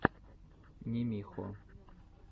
нимихо